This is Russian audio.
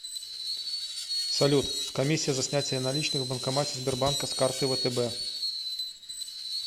салют комиссия за снятие наличных в банкомате сбербанка с карты втб